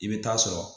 I bɛ taa sɔrɔ